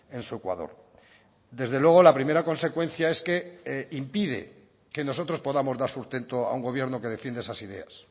en su ecuador desde luego la primera consecuencia es que impide que nosotros podamos dar sustento a un gobierno que defiende esas ideas